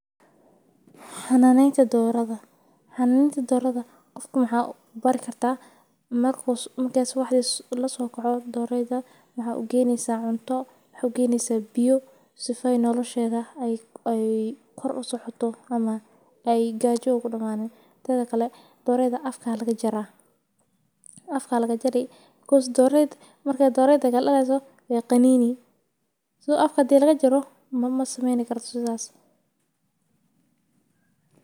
Xananeta doradha qofka waxaa u bari kartaa maxaa ugeyni kataa biya tedha kale doreyda afka aya laga jara si doreyda kale ee u qaninin sas aya sameyni.